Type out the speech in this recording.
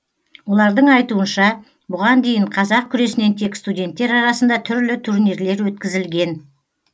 олардың айтуынша бұған дейін қазақ күресінен тек студенттер арасында түрлі турнирлер өткізілген